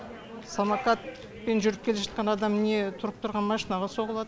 самокатпен жүріп келе жатқан адам не тұрып тұрған машинаға соғылады